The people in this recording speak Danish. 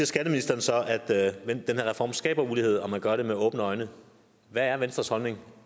skatteministeren så at den her reform skaber ulighed og at man gør det med åbne øjne hvad er venstres holdning